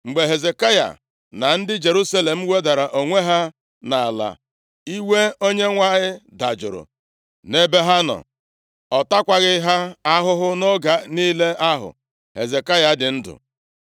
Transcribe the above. Mgbe Hezekaya na ndị Jerusalem wedara onwe ha nʼala, iwe Onyenwe anyị dajụrụ nʼebe ha nọ, ọ takwaghị ha ahụhụ nʼoge niile ahụ Hezekaya dị ndụ.